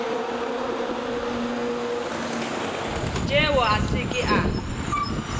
tšeo a se ke a